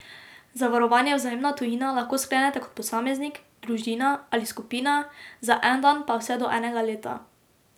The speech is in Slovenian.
Zavarovanje Vzajemna Tujina lahko sklenete kot posameznik, družina ali skupina, za en dan pa vse do enega leta.